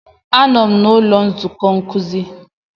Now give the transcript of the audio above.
Anọ m n'ụlọ nzukọ nkuzi.